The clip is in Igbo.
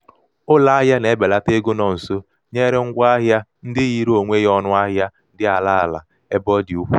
ụlọahịa na-ebelata ego nọ nso nyere ngwa ahịa ndị yiri onwe ya ọnụahịa dị ala ala ebe ọ dị ukwuu.